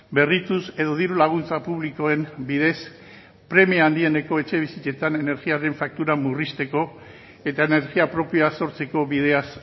berrituz edo diru laguntza publikoen bidez premia handieneko etxebizitzetan energiaren faktura murrizteko eta energia propioa sortzeko bideaz